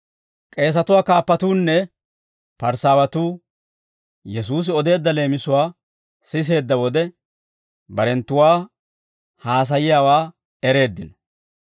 K'eesatuwaa kaappatuunne Parisaawatuu Yesuusi odeedda leemisuwaa siseedda wode, barenttuwaa haasayiyaawaa ereeddino.